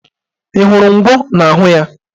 Ị hụrụ ngwọ n'ahụ ya!